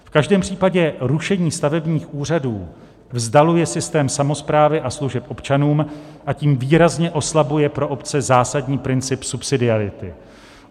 V každém případě rušení stavebních úřadů vzdaluje systém samosprávy a služeb občanům a tím výrazně oslabuje pro obce zásadní princip subsidiarity.